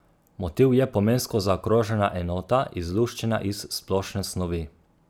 Motiv je pomensko zaokrožena enota, izluščena iz splošne snovi.